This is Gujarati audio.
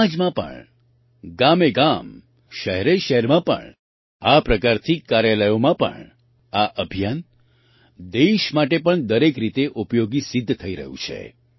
સમાજમાં પણ ગામેગામ શહેરેશહેરમાં પણ આ પ્રકારથી કાર્યાલયોમાં પણ આ અભિયાન દેશ માટે પણ દરેક રીતે ઉપયોગી સિદ્ધ થઈ રહ્યું છે